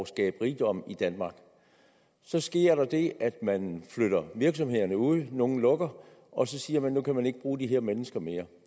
skabe rigdom i danmark så sker der det at man flytter virksomhederne ud og nogle lukker og så siger man nu kan man ikke bruge de her mennesker mere